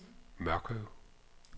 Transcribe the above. Mørkøv